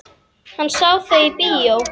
Hann sá þau í bíó.